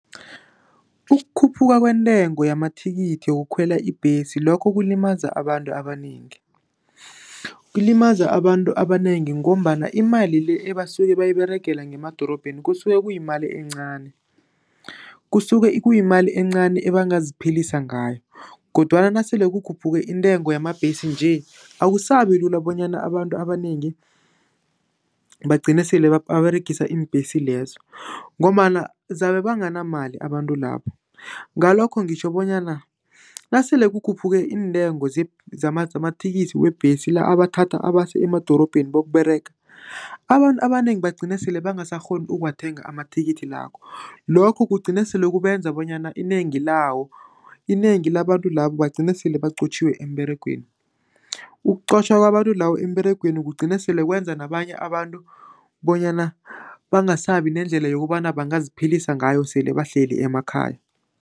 Ukukhuphuka kwentengo yamathikithi wokukhwela ibhesi lokho kulimaza abantu abanengi. Kulimaza abantu abanengi ngombana imali le ebasuke bayiberegele ngemadorobheni kusuke kuyimali encani. Kusuke kuyimali encani abangaziphilisa ngayo kodwana nasele kukhuphuke intengo yamabhesi nje, akusabilula bonyana abantu abanengi bagcine sele baberegisa iimbhesi lezo ngombana zabe banganamali abantu labo. Ngalokho ngitjho bonyana nasele kukhuphuke iintengo zamathikithi webhesi, la abathatha abase emadorobheni bokuberega, abantu abanengi bagcine sele bangasakghoni ukuwathenga amathikithi lakho. Lokho kugcine sele kubenza bonyana inengi lawo, inengi labantu labo bagcine sele baqotjhiwe emberegweni. Ukuqotjha kwabantu lawo emberegweni kugcina sele kwenza nabanye abantu bonyana bangasabi nendlela yokobana bangaziphilisa ngayo sele bahleli emakhaya.